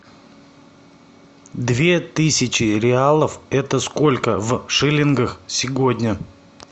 две тысячи реалов это сколько в шиллингах сегодня